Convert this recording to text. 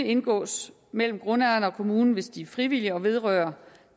indgås mellem grundejerne og kommunen hvis de er frivillige og vedrører